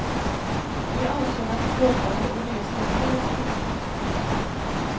De ansåg att de jobbade och reste mer än kvinnan.